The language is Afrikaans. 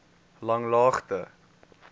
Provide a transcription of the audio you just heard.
langlaagte